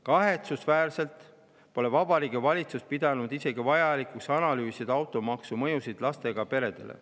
Kahetsusväärselt pole Vabariigi Valitsus pidanud vajalikuks analüüsida automaksu mõjusid isegi mitte lastega peredele.